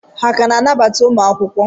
Ha ka na-anabata ụmụ akwụkwọ?